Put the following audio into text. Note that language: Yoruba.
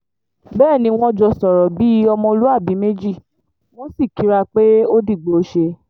bẹ́ẹ̀ ni wọ́n jọ sọ̀rọ̀ bíi ọmọlúàbí méjì wọ́n sì kíra pé ó dìgbòóṣe